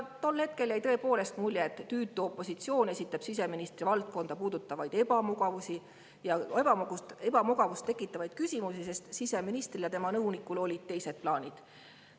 Tol hetkel jäi tõepoolest mulje, et tüütu opositsioon esitab siseministri valdkonda puudutavaid ebamugavust tekitavaid küsimusi, kui siseministril ja tema nõunikul olid teised plaanid.